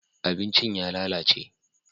abincin ya lalace